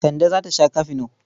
Kande za ta sha kafino.